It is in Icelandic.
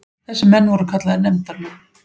Þessir menn voru kallaðir nefndarmenn.